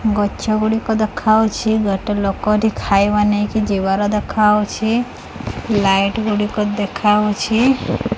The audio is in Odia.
ଗଛ ଗୁଡ଼ିକ ଦେଖାହଉଛି ଗୋଟେ ଲୋକ ଏଠି ଖାଇବା ନେଇକି ଯିବାର ଦେଖାହଉଛି ଲାଇଟ୍ ଗୁଡ଼ିକ ଦେଖାହଉଛି।